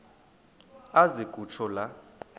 aze kutsho la